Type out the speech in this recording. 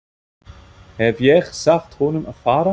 Hef ég sagt honum að fara?